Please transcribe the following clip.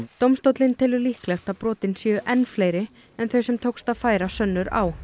dómstóllinn telur líklegt að brotin séu enn fleiri en þau sem tókst að færa sönnur á